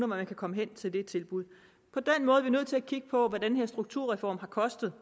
man kan komme hen til det tilbud på den måde er vi nødt til at kigge på hvad den her strukturreform har kostet